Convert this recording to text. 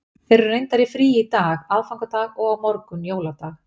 Þeir eru reyndar í fríi í dag, aðfangadag, og á morgun, jóladag.